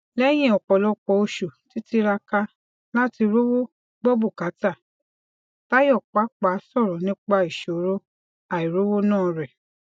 léyìn òpòlọpọ oṣù títíraka láti rówó gbọ bùkátà tayo pàpà sọrọ nípa ìṣòro àìrówóná rẹ